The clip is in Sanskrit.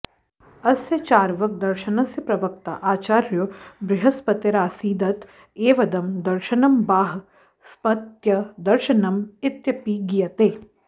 अस्य चार्वाकदर्शनस्य प्रवक्ता आचार्यो बृहस्पतिरासीदत एवेदं दर्शनं बाह स्पत्यदर्शनम् इत्यपि गीयते